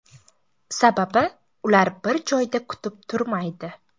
Sababi ular bir joyda kutib turmaydi.